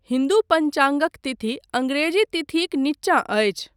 हिन्दू पञ्चाङ्गक तिथि अङ्ग्रेजी तिथिक निचा अछि।